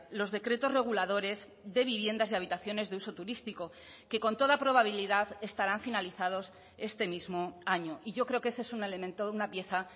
los decretos reguladores de viviendas y habitaciones de uso turístico que con toda probabilidad estarán finalizados este mismo año y yo creo que ese es un elemento una pieza